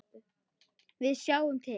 Við sjáum til.